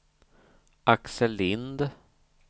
Axel Lindh